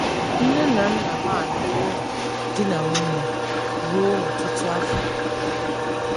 Nne na nna m alụwo di na nwunye ruo ọtụtụ afọ.